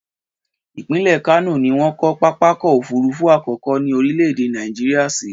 Ìpínlẹ̀ Kano ni wọ́n kọ́ pápákọ̀ òfurufú àkọ́kọ́ ní orílẹ̀-èdè Nàìjíríà sí.